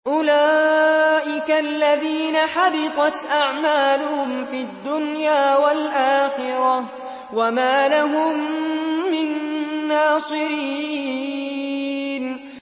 أُولَٰئِكَ الَّذِينَ حَبِطَتْ أَعْمَالُهُمْ فِي الدُّنْيَا وَالْآخِرَةِ وَمَا لَهُم مِّن نَّاصِرِينَ